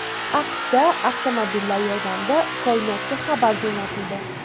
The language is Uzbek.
AQShda avtomobillar yordamida koinotga xabar jo‘natildi .